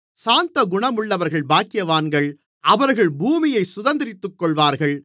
சாந்தகுணமுள்ளவர்கள் பாக்கியவான்கள் அவர்கள் பூமியைச் சுதந்தரித்துக்கொள்வார்கள்